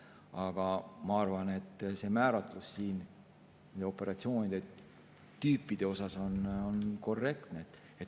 Aga ma arvan, et see operatsioonitüüpide määratlus siin on korrektne.